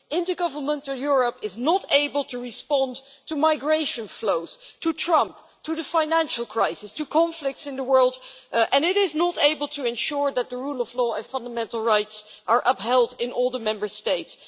Intergovernmental Europe is not able to respond to migration flows, to Trump, to the financial crisis, to conflicts in the world, and it is not able to ensure that the rule of law and fundamental rights are upheld in all the Member States.